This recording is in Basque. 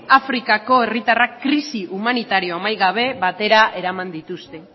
afrikako herritarrak krisi humanitario amaigabe batera eraman dituzte